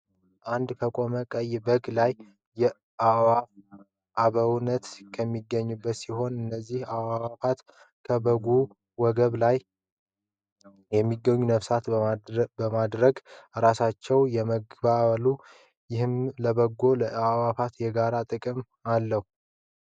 አንድ ከቆመ ቀይ በግ ላይ አእዋፋት ከበውት ከሚገኙ ሲሆን እነዚህ አእዋፍት ከበጉ ወገብ ላይ የሚገኘውን ነፍሳቶች በማድረግ እራሳቸውን የመግባሉ ይህም ለበጉና ለአዕዋፍት የጋራ ጥቅም አለው።